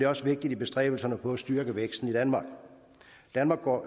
også vigtigt i bestræbelserne på at styrke væksten i danmark danmark går